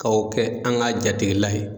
Ka o kɛ an ka jatigilaye.